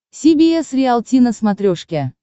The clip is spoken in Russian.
си би эс риалти на смотрешке